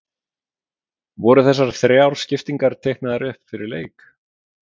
Voru þessar þrjár skiptingar teiknaðar upp fyrir leik?